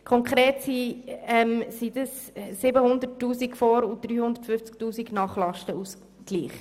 Konkret handelt es sich um 750 000 Franken und 350 000 Franken nach Lastenausgleich.